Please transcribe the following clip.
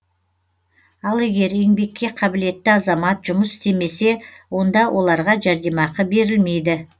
ал егер еңбекке қабілетті азамат жұмыс істемесе онда оларға жәрдемақы берілмейді